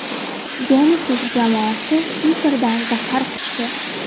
Denisov jamoasi Piterda zafar quchdi.